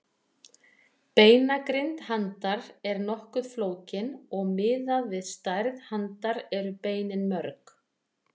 Beinagrind handar er nokkuð flókin og miðað við stærð handar eru beinin mörg.